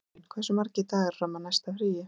Sumarlín, hversu margir dagar fram að næsta fríi?